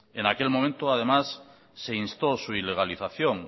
en aquel momento además se instó su ilegalización